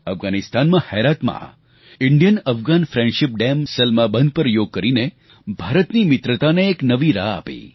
અફઘાનિસ્તાનમાં હૈરાતમાં Bharat Afghanistan friendship dam Salma બંધ પર યોગ કરીને ભારતની મિત્રતાને એક નવી રાહ આપી